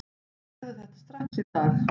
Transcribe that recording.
Gerðu þetta strax í dag!